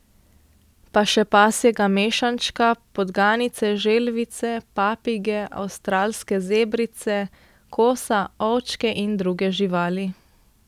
Pa še pasjega mešančka, podganice, želvice, papige, avstralske zebrice, kosa, ovčke in druge živali.